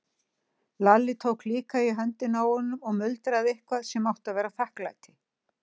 Lalli tók líka í höndina á honum og muldraði eitthvað sem átti að vera þakklæti.